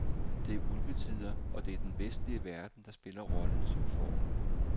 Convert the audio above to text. Det er ulvetider, og det er den vestlige verden, der spiller rollen som fårene.